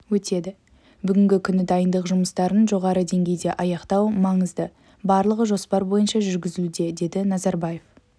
өтеді бүгінгі күні дайындық жұмыстарын жоғары деңгейде аяқтау маңызды барлығы жоспар бойынша жүргізілуде деді назарбаев